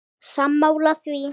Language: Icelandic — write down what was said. Sammála því?